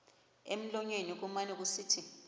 emlonyeni kumane kusithi